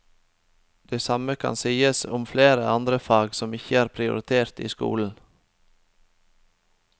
Det samme kan sies om flere andre fag som ikke er prioritert i skolen.